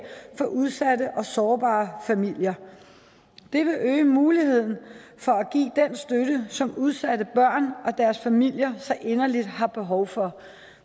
for udsatte og sårbare familier det vil øge muligheden for at give den støtte som udsatte børn og deres familier så inderligt har behov for